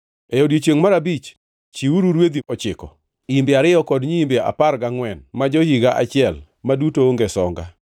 “ ‘E odiechiengʼ mar abich chiwuru rwedhi ochiko, imbe ariyo kod nyiimbe apar gangʼwen ma jo-higa achiel, ma duto onge songa.